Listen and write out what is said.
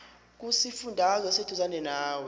kusifundazwe oseduzane nawe